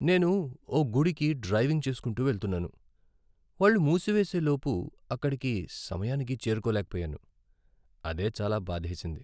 నేను ఓ గుడికి డ్రైవింగ్ చేసుకుంటూ వెళ్తున్నాను, వాళ్ళు మూసివేసే లోపు అక్కడికి సమయానికి చేరుకోలేకపోయాను. అదే చాలా బాధేసింది.